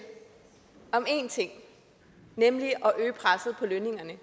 om én ting nemlig at øge presset på lønningerne